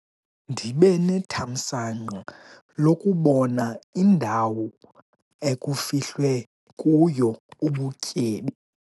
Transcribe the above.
Ndibe nethamsanqa lokubona indawo ekufihlwe kuyo ubutyebi.